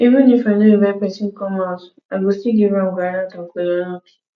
even if i no inivte pesin come house i go still give am groundnut and kola nut